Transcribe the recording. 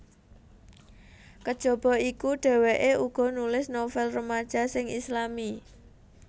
Kajaba iku dheweke uga nulis novel remaja sing Islami